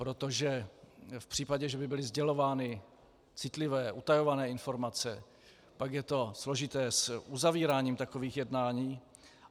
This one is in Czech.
Protože v případě, že by byly sdělovány citlivé, utajované informace, pak je to složité s uzavíráním takových jednání.